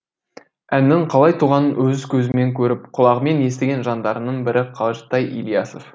әннің қалай туғанын өз көзімен көріп құлағымен естіген жандардың бірі қажытай ілиясов